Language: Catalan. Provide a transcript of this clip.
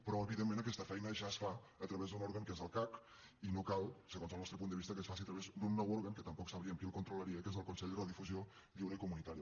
però evidentment aquesta feina ja es fa a través d’un òrgan que és el cac i no cal segons el nostre punt de vista que es faci a través d’un nou òrgan que tampoc sabríem qui el controlaria que és el consell de radiodifusió lliure i comunitària